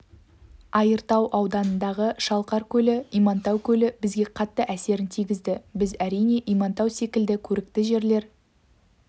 айыртау ауданындағы шалқар көлі имантау көлі бізге қатты әсерін тигізді біз әрине имантау секілді көрікті жерлер